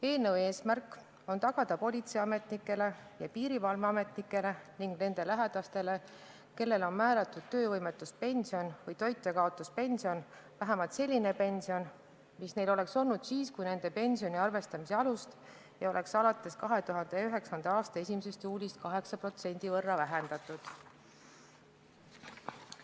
Eelnõu eesmärk on tagada politseiametnikele ja piirivalveametnikele ning nende lähedastele, kellele on määratud töövõimetuspension või toitjakaotuspension, vähemalt selline pension, mis neil oleks olnud siis, kui nende pensioni arvestamise alust ei oleks alates 2009. aasta 1. juulist 8% võrra vähendatud.